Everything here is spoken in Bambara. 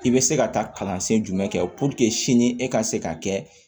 I bɛ se ka taa kalansen jumɛn kɛ sini e ka se ka kɛ